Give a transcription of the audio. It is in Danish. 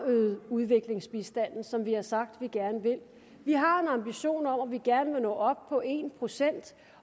øget udviklingsbistanden som vi har sagt vi gerne vil vi har en ambition om at vi gerne vil nå op på en procent